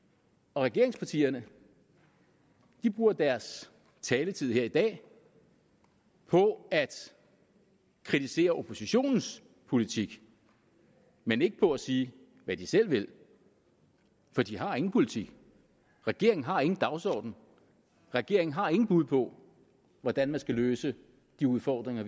og regeringspartierne bruger deres taletid her i dag på at kritisere oppositionens politik men ikke på at sige hvad de selv vil for de har ingen politik regeringen har ingen dagsorden regeringen har ingen bud på hvordan man skal løse de udfordringer